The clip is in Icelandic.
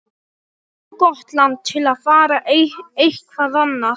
Of gott land til að fara eitthvað annað.